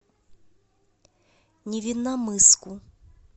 невинномысску